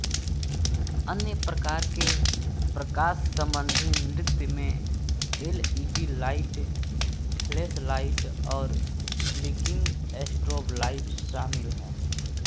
अन्य प्रकार के प्रकाशसंबंधी नृत्य में एलईडी लाइट फ्लैशलाइट और ब्लिंकिंग स्ट्रोब लाइट शामिल हैं